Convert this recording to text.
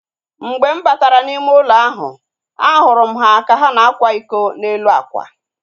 Mgbe m batara n'ime ụlọ ahu, a hụrụ m ha ka na-ákwà iko n'elu akwa